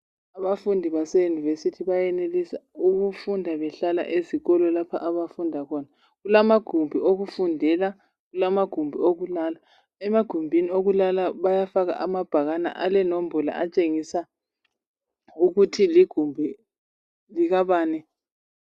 abafundi base university bayenelisa ukufunda behlala ezikolo lapho abafunda khona kulamagumbi okufundela kulamagumbi okulala emagumbini okulala bayafaka amabhakane alenombolo atshengisa ukuthi ligumbi likabani